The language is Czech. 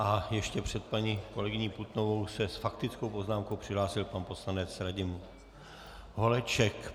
A ještě před paní kolegyní Putnovou se s faktickou poznámkou přihlásil pan poslanec Radim Holeček.